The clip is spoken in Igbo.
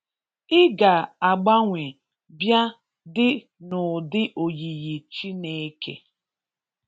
I ga agbanwe bia di n'udi oyiyi Chineke